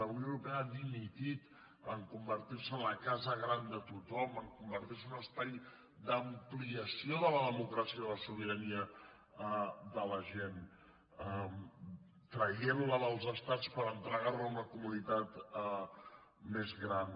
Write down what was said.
la unió europea ha dimitit de convertir se en la casa gran de tothom de convertir se en un espai d’ampliació de la democràcia i la sobirania de la gent traient la dels estats per entregar la a una comunitat més gran